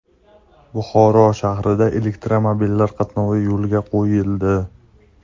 Buxoro shahrida elektromobillar qatnovi yo‘lga qo‘yildi.